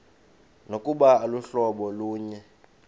nokuba aluhlobo lunye